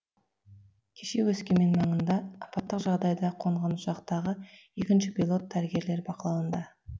кеше өскемен маңына апаттық жағдайда қонған ұшақтағы екінші пилот дәрігерлер бақылауында